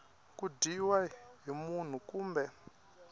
ku dyiwa hi munhu kumbe